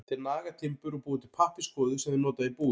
Þeir naga timbur og búa til pappírskvoðu sem þeir nota í búið.